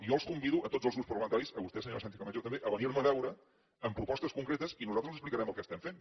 jo els convido a tots els grups parlamentaris a vostè senyora sánchezcamacho també a venir me a veure amb propostes concretes i nosaltres els explicarem el que estem fent